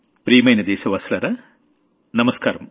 ప్రియమైన దేశవాసులారా నమస్కారం